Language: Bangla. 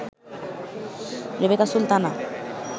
রেবেকা সুলতানা